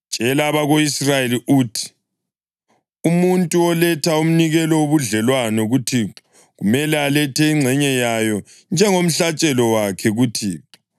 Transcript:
“Tshela abako-Israyeli uthi: ‘Umuntu oletha umnikelo wobudlelwano kuThixo kumele alethe ingxenye yawo njengomhlatshelo wakhe kuThixo.